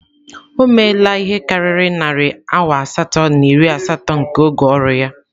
O meela ihe karịrị narị awa asatọ na iri asatọ nke oge ọrụ ya.